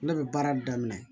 Ne bɛ baara daminɛ